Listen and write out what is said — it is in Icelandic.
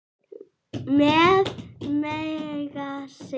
Með Megasi.